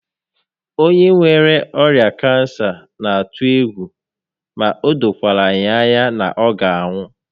Onye nwere ọrịa kansa n'atụ egwu ma o dokwara ya anya na ọ ga anwụ